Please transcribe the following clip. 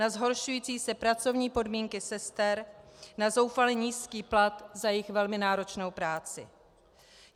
Na zhoršující se pracovní podmínky sester, na zoufale nízký plat za jejich velmi náročnou práci.